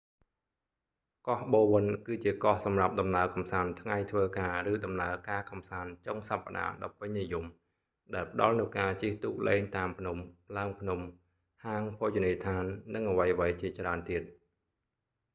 កោះបូវិន bowen គឺជាកោះសម្រាប់ដំណើរកម្សាន្តថ្ងៃធ្វើការឬដំណើរកម្សាន្តចុងសប្តាហ៍ដ៏ពេញនិយមដែលផ្តល់នូវការជិះទូកលេងតាមភ្នំ ឡើងភ្នំ ហាងភោជនីយដ្ឋាននិងអ្វីៗជាច្រើនទៀត